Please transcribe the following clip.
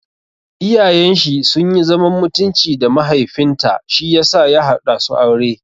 Iyayen shi sunyi zaman mutunci da mahaifin ta shiyasa ya haɗa su aure.